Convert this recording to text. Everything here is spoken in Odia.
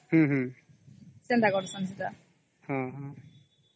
ହୁଁ ହଁ